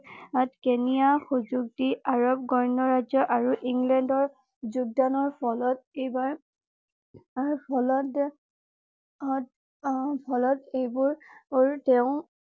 কেৰ্নিয়াক সুযোগ দি আৰৱ গণৰাজ্য আৰু ইংলেণ্ডৰ যোগদানৰ ফলত এইবাৰ ফলত ফলত এইবোৰ তেওঁ